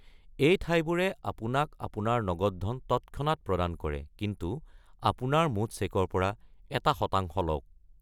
এই ঠাইবোৰে আপোনাক আপোনাৰ নগদ ধন তৎক্ষণাত প্ৰদান কৰে, কিন্তু আপোনাৰ মুঠ চেকৰ পৰা এটা শতাংশ লওক।